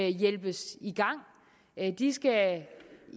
hjælpes i gang de skal